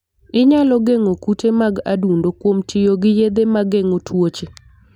Inyalo geng'o kute mag adundo kuom tiyo gi yedhe ma geng'o tuoche.